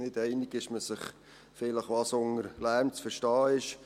Nicht einig ist man sich vielleicht, was unter Lärm zu verstehen ist.